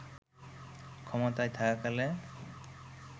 ক্ষমতায় থাকাকালে